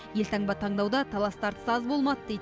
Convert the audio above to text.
елтаңба таңдауда талас тартыс та аз болмады дейді